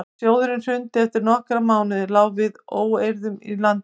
þegar sjóðurinn hrundi eftir nokkra mánuði lá við óeirðum í landinu